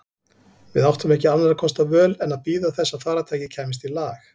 Við áttum ekki annarra kosta völ en að bíða þess að farartækið kæmist í lag.